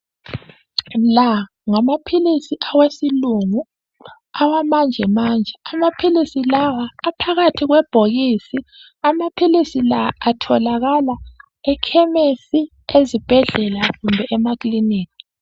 La ngamaphilisi awesilungu awamanje manje, amaphilisi lawa aphakathi kwebhokisi. Amaphilisi la atholakala ekhemisi, ezibhedlela kumbe emakiliniki.